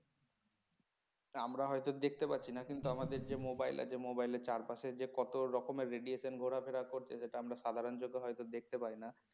আমরা হয়তো দেখতে পাচ্ছি না কিন্তু আমাদের যে mobile আছে mobile এর চারপাশে যে কত রকম radiation ঘোরাফেরা করছে সেটা আমরা সাধারণ চোখে হয়তো দেখতে পাই না